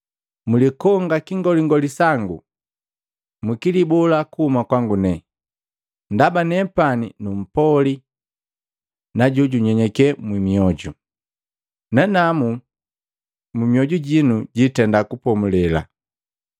Mlikonga kingolingoli sangu, mwikilibola kuhuma kwangu, ndaba nepani numpoli na jojunyenyeke mioju, nanamu myoju jinu jiitenda kupomulela,